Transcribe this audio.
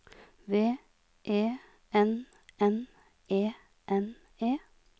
V E N N E N E